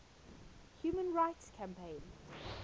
human rights campaign